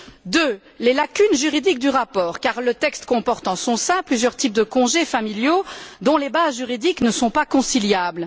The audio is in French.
deux, les lacunes juridiques du rapport car le texte comporte en son sein plusieurs types de congés familiaux dont les bases juridiques ne sont pas conciliables.